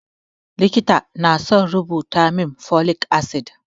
Likita na son rubuta min folic acid